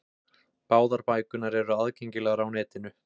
Báðar bækurnar eru aðgengilegar á netinu.